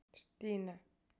Stína